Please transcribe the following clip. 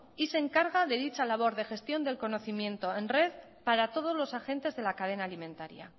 y se encarga de dicha labor de gestión del conocimiento en red para todos los agentes de la cadena alimentaria